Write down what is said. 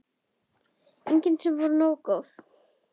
Engin sem voru nógu góð.